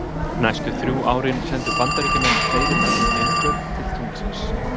Næstu þrjú árin sendu bandaríkjamenn fleiri mönnuð geimför til tunglsins.